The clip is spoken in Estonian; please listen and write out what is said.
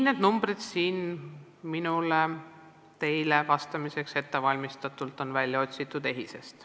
Need numbrid teile vastamiseks on mulle välja otsitud EHIS-est.